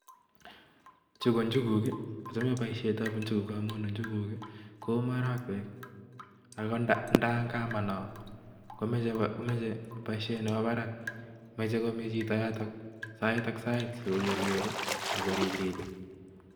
Chu ko njuguk. Achame boisiet ab njuguk amun njuguk kou marakwek ako ndayakamano komoche boisiet nebo barak; moche komi chito yotok sait ak sait sikoker ako ribribe.